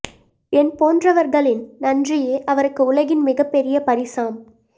என் போன்றவர்களின் நன்றியே அவருக்கு உலகின் மிகப் பெரிய பரிசாம்